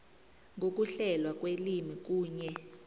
ngokuhlelwa kwelimi kunye